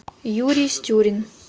юрий стюрин